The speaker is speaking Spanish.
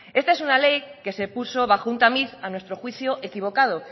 esta es una ley en la que se puso bajo un tamiz a nuestro juicio equivocado